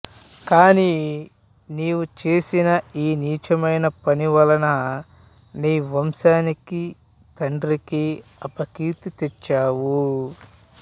కాని నీవు చేసిన ఈ నీచమైన పని వలన నీ వంశానికీ తండ్రికీ అపకీర్తి తెచ్చావు